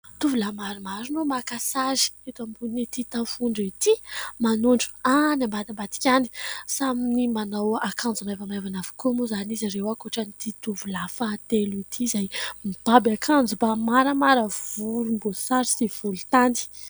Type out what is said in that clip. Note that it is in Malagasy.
Tovolahy maromaro no maka sary eto ambon'ity tafondro ity, manondro any ambadimbadika any. Samy manao akanjo maivamaivana avokoa moa izany izy ireo ankoatran'ity tovolahy fahatelo ity izay mibaby maramara volombaosary sy volontany.